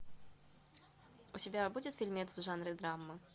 у тебя будет фильмец в жанре драмы